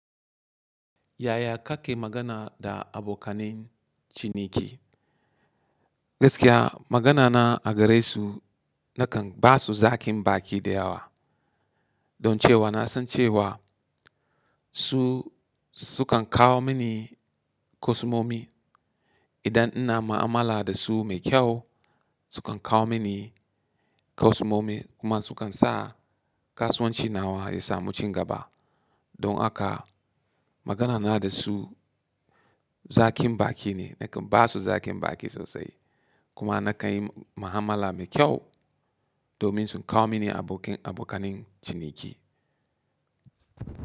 Yaya kake magana da abokanin ciniki? Gaskiya magana na a gare su nakan ba su zakin baki da yawa. Don cewa na san cewa su, su kan kawo mini kusomomi idan ina mu'amala da su mai kyau su kan kawo mini kusomi kuma su kan sa kasuwanci nawa ya samu cigaba. Don haka magana na da su zakin baki ne nakan ba su zakin baki sosai. Kuma na kai mu'amala mai kyau domin su kawo mini abokanin ciniki.